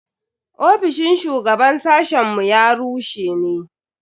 Ofishin shugaban sashen mu ya rushe ne.